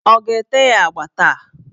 Ọ ga-ete ya agba taa?